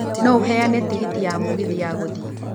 no ũheane tigiti ya mũgithi ya gũthiĩ